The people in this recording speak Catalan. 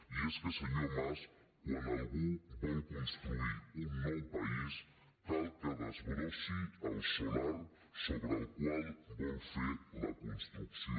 i és que senyor mas quan algú vol construir un nou país cal que desbrossi el solar sobre el qual vol fer la construcció